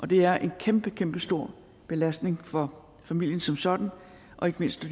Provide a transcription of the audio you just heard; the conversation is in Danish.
det er en kæmpe kæmpe stor belastning for familien som sådan og ikke mindst